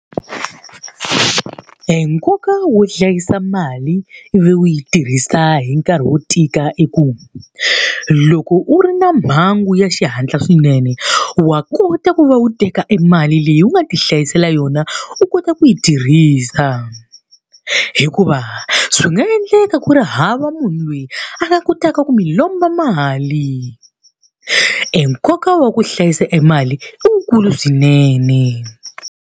E nkoka wo hlayisa mali ivi u yi tirhisa hi nkarhi wo tika i ku. Loko u ri na mhangu ya xihatla swinene, wa kota ku va u teka e mali leyi u nga ti hlayisela yona u kota ku yi tirhisa. Hikuva swi nga endleka ku ri hava munhu loyi a nga kotaka ku mi lomba mali. E nkoka wa ku hlayisa e mali i wu kulu swinene.